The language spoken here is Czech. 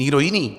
Nikdo jiný.